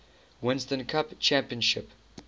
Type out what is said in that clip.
winston cup championship